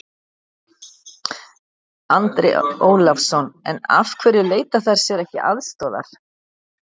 Andri Ólafsson: En af hverju leita þær sér ekki aðstoðar?